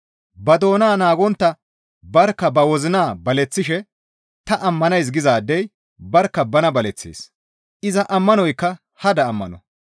Ba doona naagontta barkka ba wozina baleththishe ta ammanays gizaadey barkka bana baleththees; iza ammanoykka hada ammano.